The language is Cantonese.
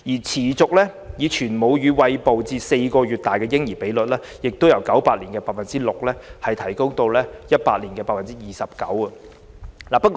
持續以全母乳餵哺至4個月大的嬰兒比率，亦由1998年的 6% 提升至2018年的 29%。